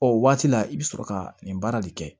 O waati la i bɛ sɔrɔ ka nin baara de kɛ